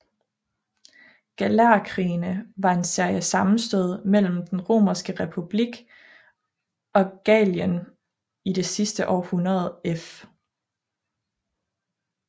Gallerkrigene var en serie sammenstød mellem Den romerske republik og Gallien i det sidste århundrede f